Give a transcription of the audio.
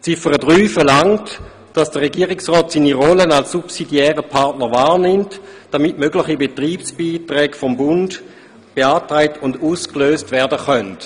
Ziffer 3 verlangt, dass der Regierungsrat seine Rolle als subsidiärer Partner wahrnimmt, damit mögliche Betriebsbeiträge des Bundes beantragt und ausgelöst werden können.